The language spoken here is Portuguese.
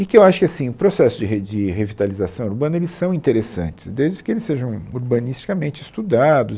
E que eu acho que assim o processo de re de revitalização urbana eles são interessantes, desde que eles sejam urbanisticamente estudados.